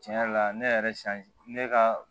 Tiɲɛ yɛrɛ la ne yɛrɛ ne ka